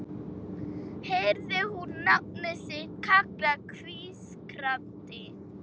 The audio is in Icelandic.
Heyrði hún nafnið sitt kallað hvískrandi